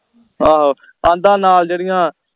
ਆਹੋ ਆਹਦਾ ਨਾਲ ਜਿਹੜੀਆਂ